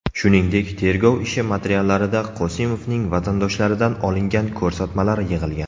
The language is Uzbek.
Shuningdek, tergov ishi materiallarida Qosimovning vatandoshlaridan olingan ko‘rsatmalar yig‘ilgan.